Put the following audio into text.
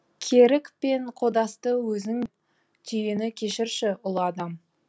керік пен қодасты өзің түйені кешірші ұлы адам